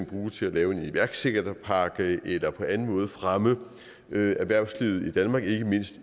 bruge til at lave en iværksætterpakke eller på anden måde fremme erhvervslivet i danmark ikke mindst i